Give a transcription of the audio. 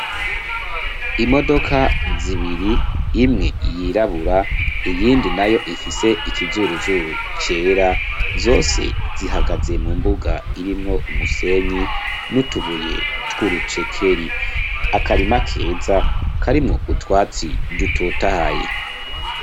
Imodoka zibiri imwe yirabura iyindi nayo ifise ikizuruzuru cera .Zose zihagaze mu mbuga irimwo umusenyi nutubuye twurucekeri akarima keza karimo utwatsi dutotahaye.